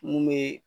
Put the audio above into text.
Mun be